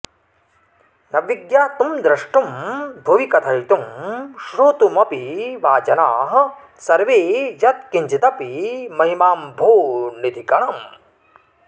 न विज्ञातुं द्रष्टुं भुवि कथयितुं श्रोतुमपि वा जनाः सर्वे यत्किञ्चिदपि महिमाम्भोनिधिकणम्